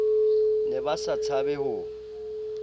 ne ba sa tshabe ho